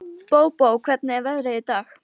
Bóbó, hvernig er veðrið í dag?